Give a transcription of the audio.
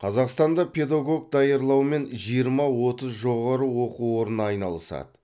қазақстанда педагог даярлаумен жиырма отыз жоғары оқу орны айналысады